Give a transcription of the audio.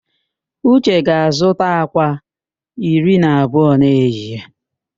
Uche ga-azụta àkwá iri na abụọ n'ehihie